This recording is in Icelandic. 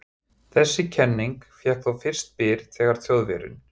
Þessi kenning fékk þó fyrst byr þegar Þjóðverjinn